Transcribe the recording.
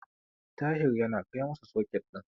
Tahir yana kai masa soket din.